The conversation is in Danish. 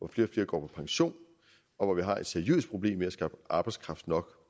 flere går på pension og hvor vi har et seriøst problem med at skaffe arbejdskraft nok